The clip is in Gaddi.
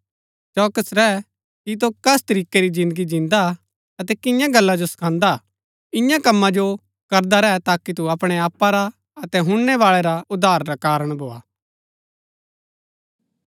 चौकस रैंह कि तु कस तरीकै री जिन्दगी जिन्दा हा अतै किन्या गल्ला जो सखान्‍दा हा इन्या कमा जो करदा रैह ताकि तु अपणै आपा रा अतै हुणनैबाळै रा उद्धार रा कारण भोआ